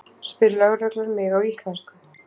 spyr lögreglan mig á íslensku.